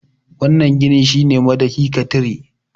wannan ginin shi ne madahi ka tire